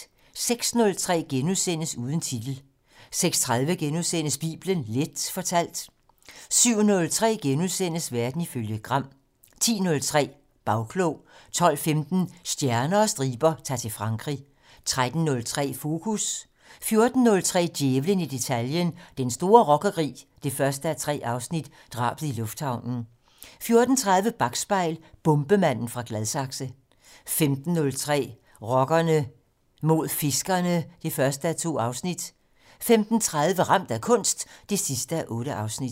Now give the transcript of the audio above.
06:03: Uden titel * 06:30: Bibelen Leth fortalt * 07:03: Verden ifølge Gram * 10:03: Bagklog 12:15: Stjerner og striber - Ta'r til Frankrig 13:03: Fokus 14:03: Djævlen i detaljen - Den store rockerkrig 1:3 - Drabet i lufthavnen 14:30: Bakspejl: Bombemanden fra Gladsaxe 15:03: Rockerne mod fiskerne 1:2 15:30: Ramt af kunst 8:8